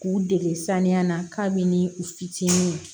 K'u dege saniya na kabini u fitinin